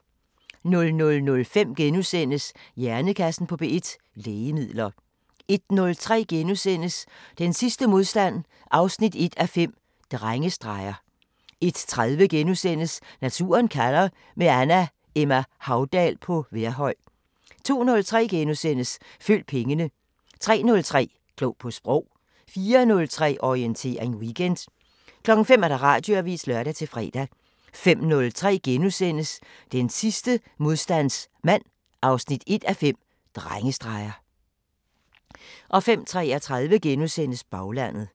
00:05: Hjernekassen på P1: Lægemidler * 01:03: Den sidste modstandsmand 1:5 – Drengestreger * 01:30: Naturen kalder – med Anna Emma Haudal på Vejrhøj * 02:03: Følg pengene * 03:03: Klog på Sprog 04:03: Orientering Weekend 05:00: Radioavisen (lør-fre) 05:03: Den sidste modstandsmand 1:5 – Drengestreger * 05:33: Baglandet *